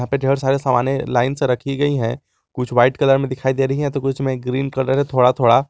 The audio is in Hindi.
पे ढेर सारे सामने लाइन से रखी गई हैं कुछ व्हाइट कलर में दिखाई दे रही हैं कुछ में ग्रीन कलर है थोड़ा थोड़ा।